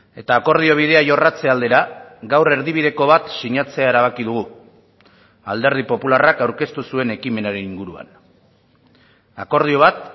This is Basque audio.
eta akordio bidea jorratze aldera gaur erdibideko bat sinatzea erabaki dugu alderdi popularrak aurkeztu zuen ekimenaren inguruan akordio bat